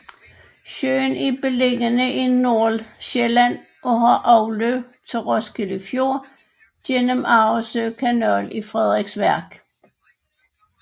Søen er beliggende i Nordsjælland og har afløb til Roskilde Fjord gennem Arresø Kanal i Frederiksværk